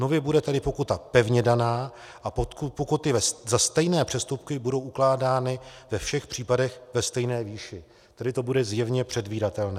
Nově bude tedy pokuta pevně daná a pokuty za stejné přestupky budou ukládány ve všech případech ve stejné výši, tedy to bude zjevně předvídatelné.